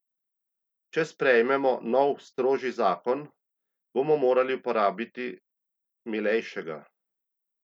Če sprejmemo nov, strožji zakon, bomo morali uporabiti milejšega.